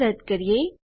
આ રદ કરીએ